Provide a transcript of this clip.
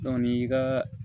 i ka